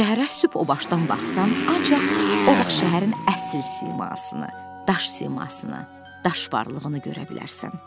Şəhərə sübh obaşdan baxsan, ancaq o vaxt şəhərin əsl simasını, daş simasını, daş varlığını görə bilərsən.